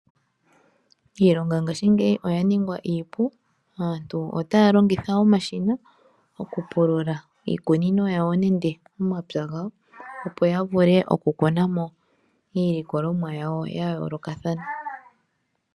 Iilonga ngaashingeyi oya ningwa iipu. Aantu otaya longitha omashina oku pulula iikunino yawo nenge omapya gawo opo ya vule oku kuna mo iilikolomwa yawo ya yoolokathana.